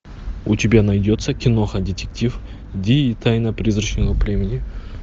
у тебя найдется киноха детектив ди и тайна призрачного племени